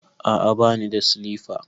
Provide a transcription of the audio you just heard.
A'a bani da silifa.